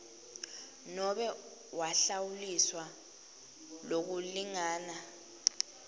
nobe wahlawuliswa lokulingana